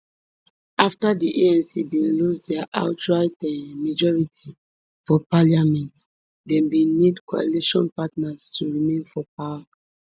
afta di anc bin lose dia outright um majority for parliament dem bin need coalition partners to remain for power